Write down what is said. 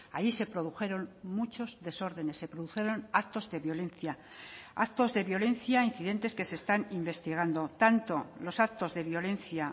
ahí se produjeron muchos desórdenes se produjeron actos de violencia actos de violencia incidentes que se están investigando tanto los actos de violencia